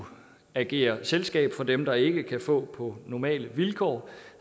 agere selskab for dem der ikke kan få på normale vilkår